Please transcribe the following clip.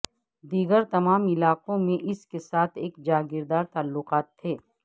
دیگر تمام علاقوں میں اس کے ساتھ ایک جاگیردار تعلقات تھے